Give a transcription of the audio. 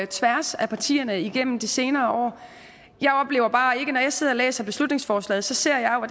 tværs af partierne igennem de senere år når jeg sidder og læser beslutningsforslaget ser jeg jo